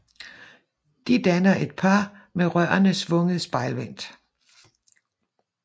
De danner et par med rørene svunget spejlvendt